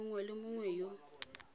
mongwe le mongwe yo o